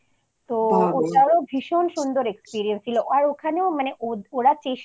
তো ওখানেও ভীষণ সুন্দর experience ছিল আর